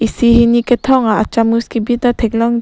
isi hini kethom a chamus kebi ta theklongji.